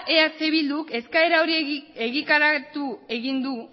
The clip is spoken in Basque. eh bilduk eskaera egitaratu egin du